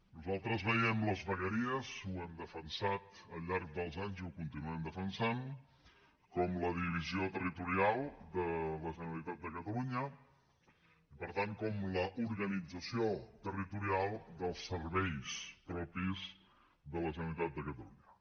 nosaltres veiem les vegueries ho hem defensat al llarg dels anys i ho continuem defensant com la divisió territorial de la generalitat de catalunya i per tant com l’organització territorial dels serveis propis de la generalitat de catalunya